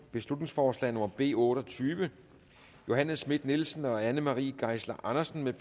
beslutningsforslag nummer b otte og tyve johanne schmidt nielsen og anne marie geisler andersen